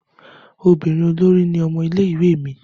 Ọmọbinrin olori ni ọmọ ile-iwe mi.